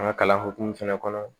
An ka kalan hokumu fɛnɛ kɔnɔ